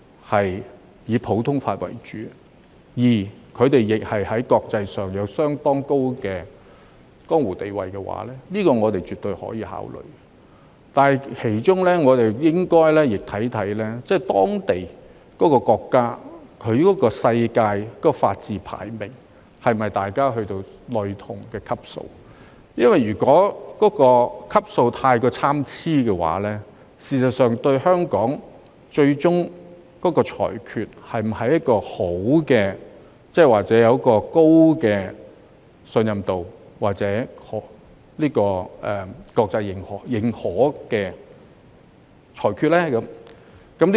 其他普通法適用地區的法官若在國際上有相當高的江湖地位，我們絕對可以考慮，但是我們亦應考慮有關國家的全球法治排名是否已達到類同的級數，因為如果級數太過參差，香港法院的裁決是否能保持高信任度或國際認可呢？